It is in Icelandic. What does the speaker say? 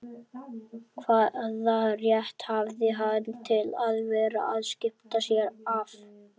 Hvaða rétt hafði hann til að vera að skipta sér af